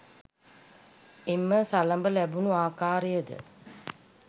එම සළඹ ලැබුණු ආකාරයද